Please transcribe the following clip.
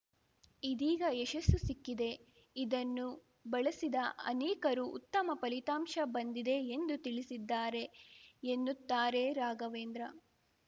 ಇದೀಗ ಯಶಸ್ಸು ಸಿಕ್ಕಿದೆ ಇದನ್ನು ಬಳಸಿದ ಅನೇಕರು ಉತ್ತಮ ಫಲಿತಾಂಶ ಬಂದಿದೆ ಎಂದು ತಿಳಿಸಿದ್ದಾರೆ ಎನ್ನುತ್ತಾರೆ ರಾಘವೇಂದ್ರ